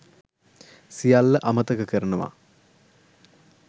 සියල්ල අමතක කරනවා.